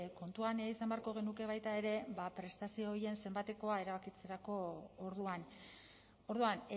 kontuan izan beharko genuke baita ere ba prestazio horien zenbatekoa erabakitzerako orduan orduan